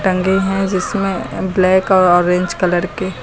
रंगे हैं जिसमें ब्लैक और ऑरेंज कलर के--